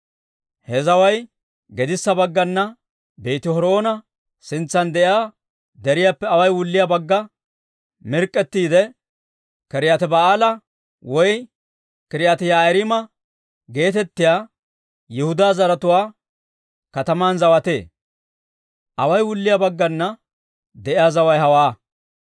He zaway gedissa baggana Beeti-Horoona sintsan de'iyaa deriyaappe away wulliyaa bagga mirk'k'ettiide, K'iriyaati-Ba'aala woy K'iriyaati-Yi'aariima geetettiyaa Yihudaa zaratuwaa kataman zawatee. Away wulliyaa baggana de'iyaa zaway hawaa.